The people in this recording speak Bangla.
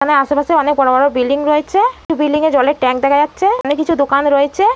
এখানে আশেপাশে অনেক বড় বড় বিল্ডিং রয়েছে কিছু বিল্ডিং এ জলের ট্যাঙ্ক দেখা যাচ্ছে। এখানে কিছু দোকান রয়েছে।